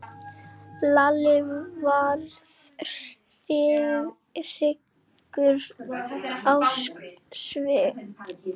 Lalli varð hryggur á svip.